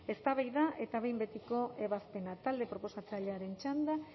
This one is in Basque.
eztabaida eta behin betiko ebazpena talde proposatzailearen txanda